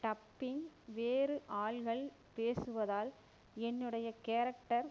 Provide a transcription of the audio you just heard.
dubbing வேறு ஆள்கள் பேசுவதால் என்னுடைய கேரக்டர்